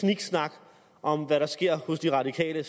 sniksnak om hvad der sker hos det radikale